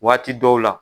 Waati dɔw la